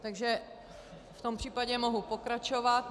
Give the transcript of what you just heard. Takže v tom případě mohu pokračovat.